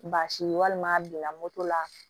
Baasi ye walima a donna moto la